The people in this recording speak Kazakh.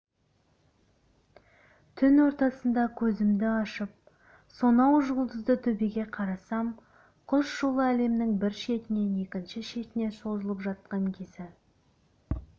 түн ортасында көзімді ашып сонау жұлдызды төбеге қарасам құс жолы әлемнің бір шетінен екінші шетіне созылып жатқан кезі